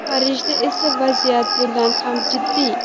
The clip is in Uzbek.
Parijda esa vaziyat bundan ham jiddiy.